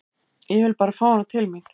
Ég vil bara fá hana til mín.